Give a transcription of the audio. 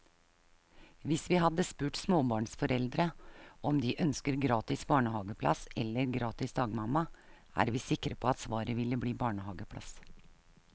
Hvis vi hadde spurt småbarnsforeldre om de ønsker gratis barnehaveplass eller gratis dagmamma, er vi sikre på at svaret ville bli barnehaveplass.